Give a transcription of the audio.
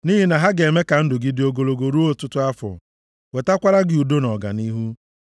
Nʼihi na ha ga-eme ka ndụ gị dị ogologo ruo ọtụtụ afọ, wetakwara gị udo na ọganihu.